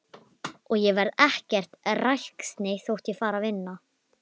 Fundur var ákveðinn að mánuði liðnum.